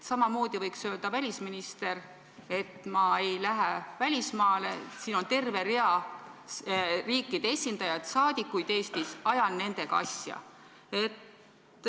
Samamoodi võiks öelda välisminister, et ma ei lähe välismaale, Eestis on terve rida teiste riikide esindajaid, saadikuid, ajan nendega asju.